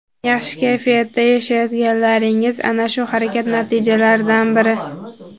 yaxshi kayfiyatda yashayotganlaringiz - ana shu harakat natijalaridan biri.